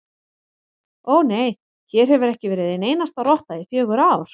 Ó, nei, hér hefur ekki verið ein einasta rotta í fjögur ár